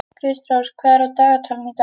Kristrós, hvað er á dagatalinu í dag?